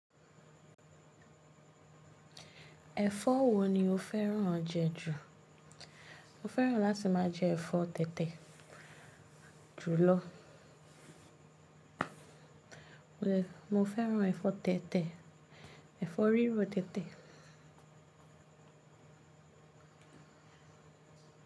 Ẹ̀fọ́ wo ni o fẹ́ràn jẹ ju? Mo fẹ́ràn láti máa jẹ ẹ̀fọ́ tẹ̀tẹ̀ jùlọ. Mo fẹ́ràn ẹ̀fọ́ tẹ̀tẹ̀, ẹ̀fọ́ rírọ tẹ̀tẹ̀.